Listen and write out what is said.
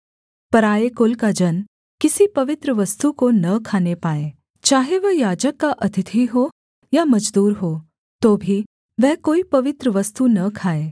पराए कुल का जन किसी पवित्र वस्तु को न खाने पाए चाहे वह याजक का अतिथि हो या मजदूर हो तो भी वह कोई पवित्र वस्तु न खाए